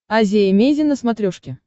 азия эмейзин на смотрешке